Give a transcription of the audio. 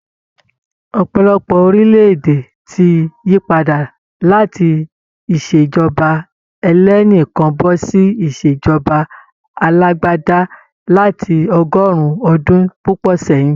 Ọ̀pọ̀lọpọ̀ orílẹ̀-èdè ti yípadà láti ìṣèjọba ẹlẹ́nìkan bọ́ ṣí ìṣèjọba alágbádá lati ọgọ́rùn-ún ọdún púpọ̀ sẹ́yìn.